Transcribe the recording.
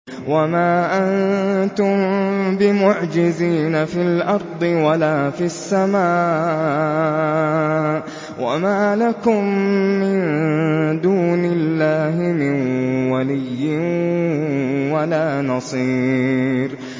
وَمَا أَنتُم بِمُعْجِزِينَ فِي الْأَرْضِ وَلَا فِي السَّمَاءِ ۖ وَمَا لَكُم مِّن دُونِ اللَّهِ مِن وَلِيٍّ وَلَا نَصِيرٍ